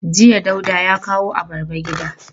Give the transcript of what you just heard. Jiya Dauda ya kawo abarba gida.